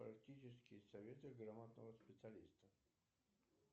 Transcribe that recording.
практические советы грамотного специалиста